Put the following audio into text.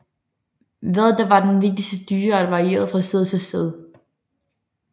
Hvad der var den vigtigste dyreart varierede fra sted til sted